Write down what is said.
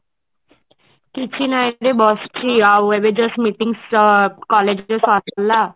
କିବହି ନାଇଁ ବସିଛି ଏବେ just meeting ସ collage ସରିଲା ଆଉ